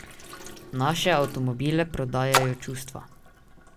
Naše avtomobile prodajajo čustva.